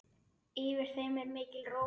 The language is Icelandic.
Yfir þeim er mikil ró.